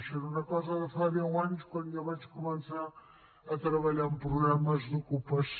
això era una cosa de fa deu anys quan jo vaig començar a treballar en programes d’ocupació